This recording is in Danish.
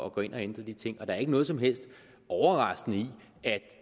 at gå ind og ændre de ting og der er ikke noget som helst overraskende i at